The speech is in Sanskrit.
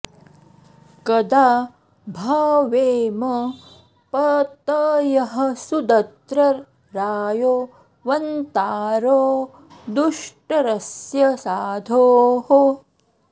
क॒दा भ॑वेम॒ पत॑यः सुदत्र रा॒यो व॒न्तारो॑ दु॒ष्टर॑स्य सा॒धोः